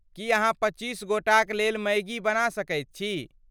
की अहाँ पच्चीस गोटाक लेल मैगी बना सकैत छी?